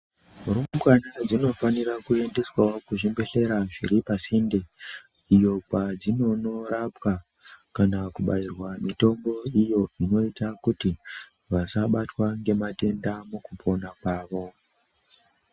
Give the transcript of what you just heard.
Rumbwana dzinofanira kuendeswawo kuzvibhedhlera zviri pasinde iyo kwadzinonorapwa kana kubairwa mitombo iyo inoita kuti vasabatwa ngematenda mukupona kwavo.